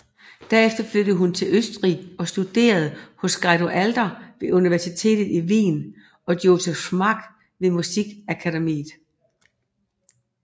Derefter flyttede hun til Østrig og studerede hos Guido Adler ved universitetet i Wien og Joseph Marx ved musikakademiet